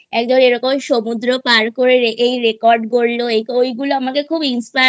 এরকম সমুদ্র পার করে রেখেই Record গড়লো ওই গুলো আমাকে খুব Inspire